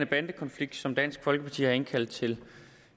bandekonflikt som dansk folkeparti har indkaldt til